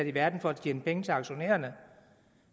i verden for at tjene penge til aktionærerne